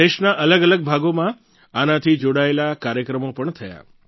દેશના અલગઅલગ ભાગોમાં આનાથી જોડાયેલા કાર્યક્રમો પણ થયા